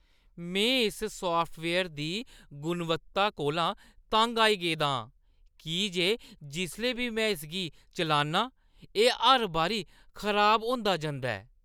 में इस साफ्टवेयर दी गुणवत्ता कोला तंग आई गेदा आं की जे जिसलै बी में इसगी चलान्नां, एह् हर बारी खराब होंदा जंदा ऐ।